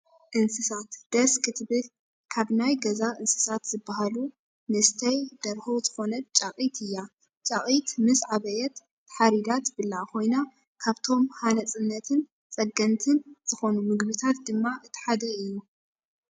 እንስሳት፦ ደስ ክትብል ! ካብ ናይ ገዛ እንስሳት ዝብሃሉ ንስተይ ደርሆ ዝኮነት ጫቒር እያ። ጫቒት ምስ ዓበየት ተሓሪዳ ትብላዕ ኮይና ካብቶም ሃነፅትን ፀገንትን ዝኮኑ ምግብታት ድማ እቲ ሓደ እዩ።